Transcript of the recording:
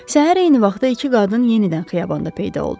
Səhər eyni vaxtda iki qadın yenidən xiyabanda peyda oldu.